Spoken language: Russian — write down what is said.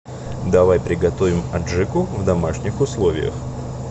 давай приготовим аджику в домашних условиях